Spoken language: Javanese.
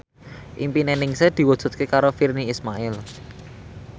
impine Ningsih diwujudke karo Virnie Ismail